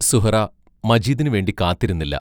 സുഹ്റാ മജീദിനു വേണ്ടി കാത്തിരുന്നില്ല.